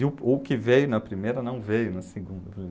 E o o que veio na primeira não veio na segunda.